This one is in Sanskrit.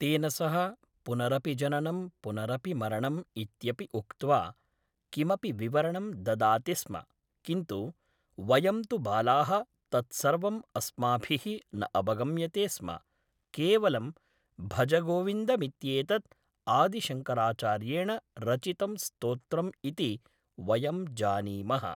तेन सह पुनरपि जननं पुनरपि मरणम् इत्यपि उक्त्वा किमपि विवरणं ददाति स्म किन्तु वयं तु बालाः तत्सर्वम् अस्माभिः न अवगम्यते स्म केवलं भजगोविन्दमित्येतत् आदिशङ्कराचार्येण रचितं स्तोत्रम् इति वयं जानीमः